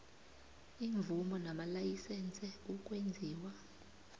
iimvumo namalayisense ukwenziwa